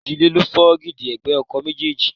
Ìji líle ló fọ́ dígí ẹ̀gbẹ́ ọkọ̀ méjèèjì.